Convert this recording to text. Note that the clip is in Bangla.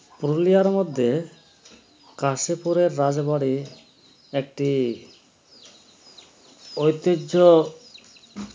পুরুলিয়ার মধ্যে কাশিপুরের রাজ বাড়ী একটি ঐতিহ্য